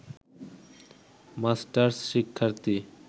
masters শিক্ষার্থী